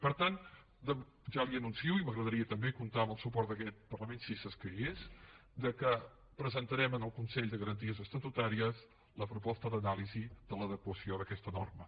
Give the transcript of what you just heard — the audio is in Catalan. per tant ja li anuncio i m’agradaria també comptar amb el suport d’aquest parlament si escaigués que presentarem al consell de garanties estatutàries la proposta d’anàlisi de l’adequació d’aquesta norma